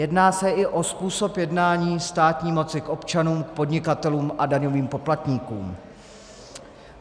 Jedná se i o způsob jednání státní moci k občanům, k podnikatelům a daňovým poplatníkům.